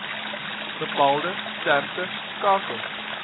bepaalde streke skakel